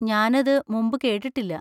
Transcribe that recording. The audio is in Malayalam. ഞാൻ അത് മുമ്പ് കേട്ടിട്ടില്ല.